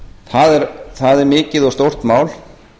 það er mikið og stórt mál